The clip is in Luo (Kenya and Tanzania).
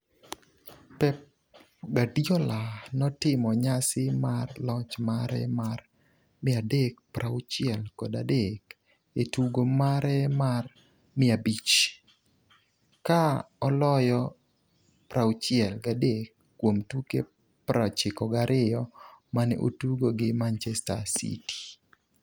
Pep Guardiola notimo nyasi mar loch mare mar 363 e tugo mare mar 500, ka oloyo 63 kuom tuke 92 mane otugo gi Manchester City.